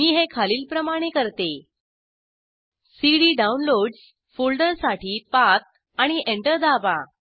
मी हे खालीलप्रमाणे करते सीडी डाउनलोड्स फोल्डरसाठी पाथ आणि एंटर दाबा